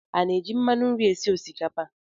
A na-eji mmanụ nri esi osikapa?